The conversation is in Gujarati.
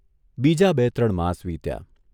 બીજા બે ત્રણ માસ વીત્યાં.